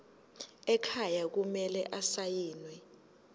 ekhaya kumele asayiniwe